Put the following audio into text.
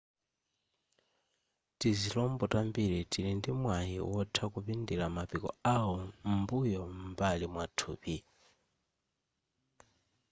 tizilombo tambiri tili ndi mwayi wotha kupindira mapiko awo m'mbuyo m'mbali mwathupi